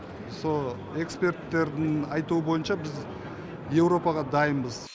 сол эксперттердің айтуы бойынша біз еуропаға дайынбыз